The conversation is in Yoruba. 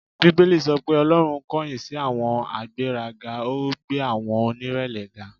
Bíbélì sọ pé Ọlọ́run kọ̀yìn sí àwọn agbéraga, ó gbé àwọn onírẹ̀lẹ̀ ga.